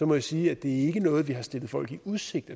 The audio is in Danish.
må jeg sige at det ikke er noget vi har stillet folk i udsigt